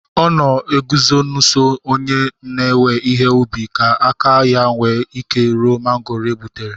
O na eguzo nso onye na-ewe ihe ubi ka aka ya nwee ike iru mangoro e gbutere